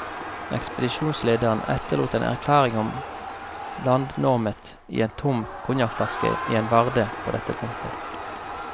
Ekspedisjonslederen etterlot en erklæring om landnåmet i en tom konjakkflaske i en varde på dette punktet.